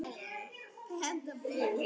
Kjósum nýtt.